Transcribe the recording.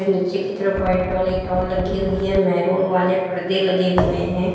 नीचे की तरफ व्हाइट वाली टॉल लगी हुई है मैरून वाले परदे लगे हुए हैं।